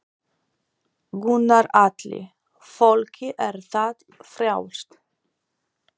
Gunnar Atli: Fólki er það frjálst?